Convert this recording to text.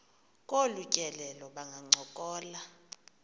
kolu tyelelo bangancokola